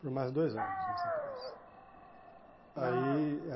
Por mais dois anos nessa empresa. Ai